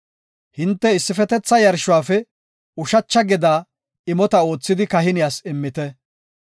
Hinte issifetetha yarshuwafe ushacha gedaa imota oothidi kahiniyas immite.